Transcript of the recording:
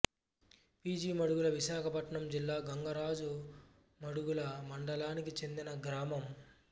P G Madugula Visakhapatnam జిల్లా గంగరాజు మాడుగుల మండలానికి చెందిన గ్రామం